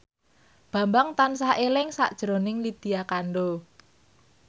Bambang tansah eling sakjroning Lydia Kandou